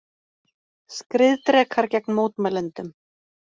Skriðdrekar gegn mótmælendum